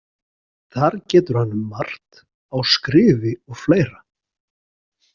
Þar getur hann um margt á skrifi og fleira.